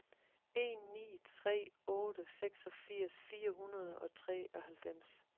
en ni tre otte seksogfirs fire hundrede og treoghalvfems